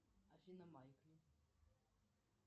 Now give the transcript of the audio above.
афина майкли